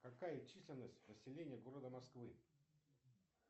какая численность населения города москвы